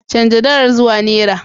Chanza dalar zuwa naira.